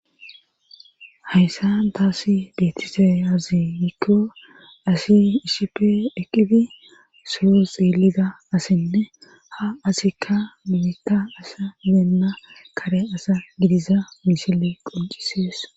hayssan taasi deettiseyaziegikko asi isipi eqqifi soo xeelida asinne ha asikka minitta asa deenna kare asa gidiza misile qoncisees